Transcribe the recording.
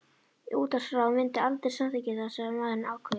Útvarpsráð myndi aldrei samþykkja það, sagði maðurinn ákveðið.